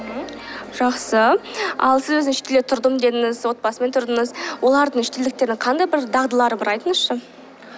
ммм жақсы ал сіз өзіңіз шетелде тұрдым дедіңіз отбасымен тұрдыңыз олардың шетелдіктердің қандай бір дағдылары бар айтыңызшы